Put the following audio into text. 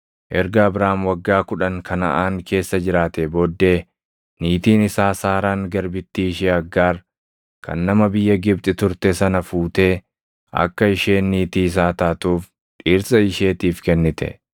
Erga Abraam waggaa kudhan Kanaʼaan keessa jiraatee booddee niitiin isaa Saaraan garbittii ishee Aggaar kan nama biyya Gibxi turte sana fuutee akka isheen niitii isaa taatuuf dhirsa isheetiif kennite.